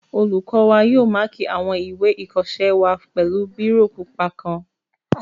Olùkọ́ wa yóò máàkì àwọn ìwé ìkọsẹ́ wa pẹ̀lú bírò pupa kan